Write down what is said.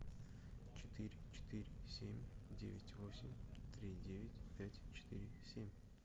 четыре четыре семь девять восемь три девять пять четыре семь